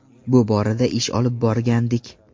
Bu borada ish olib borgandik.